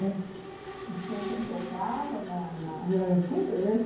E tinha quem tocava na na...